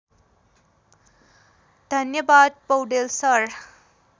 धन्यवाद पौडेल सर